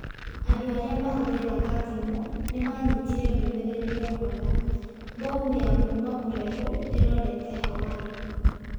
Andũ arĩa maahũthagĩra thimũ nĩ maanyitire ndũmĩrĩri yaugaga: Bomu ya kuuma kũraihu ĩrorete Hawaii.